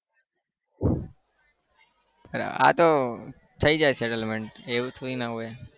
આતો થઇ જાય settlement એવું થોડીના હોય?